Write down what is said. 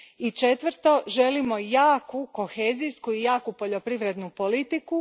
I četvrto, želimo jaku kohezijsku i poljoprivrednu politiku.